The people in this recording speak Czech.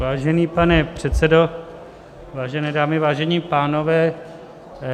Vážený pane předsedo, vážené dámy, vážení pánové.